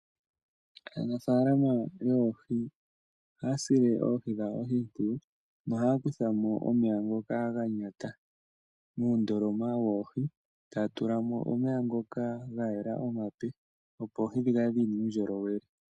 Aanafalama yoohi ohaya sile oohi dhawo oshimpwiyu nohaya kuthamo omeya ngoka ga nyata muundoloma woohi, taya tulamo omeya ngoka ga yela omape opo oohi dhi kale dhina uundjolowele.